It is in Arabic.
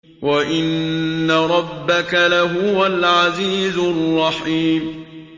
وَإِنَّ رَبَّكَ لَهُوَ الْعَزِيزُ الرَّحِيمُ